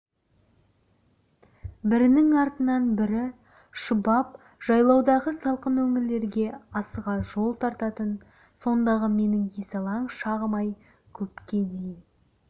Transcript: бірінің артынан бірі шұбап жайлаудағы салқын өңірлерге асыға жол тартатын сондағы менің есалаң шағым-ай көпке дейін